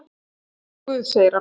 """Ég trúi á Guð, segir hann."""